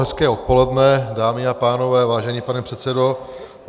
Hezké odpoledne, dámy a pánové, vážený pane předsedo.